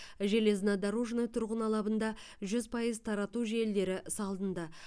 железнодорожный тұрғын алабында жүз пайыз тарату желілері салынды